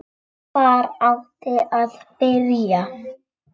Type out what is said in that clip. HVAR ÁTTI AÐ BYRJA?